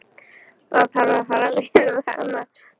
Það þarf að fara vel með hana.